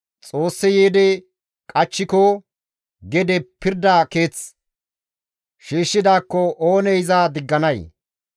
Xoossi yiidi qachchiko, gede pirda keeth shiishshidaakko oonee iza digganay?